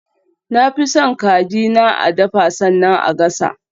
Na fi son kaji na a dafa sannan a gasa.